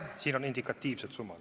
Siin on indikatiivsed summad.